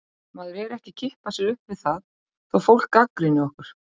Maður er ekki að kippa sér upp við það þó fólk gagnrýni okkur.